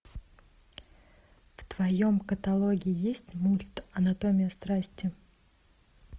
в твоем каталоге есть мульт анатомия страсти